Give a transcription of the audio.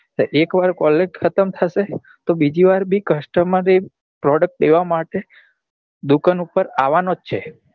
એક વાર colgate ખતમ થશે તો બીજી વાર બી એ customer એ product લેવા માટે દુકાન પર આવા નો જ છે